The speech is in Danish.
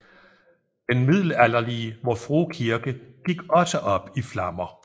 Den middelalderlige Vor Frue Kirke gik også op i flammer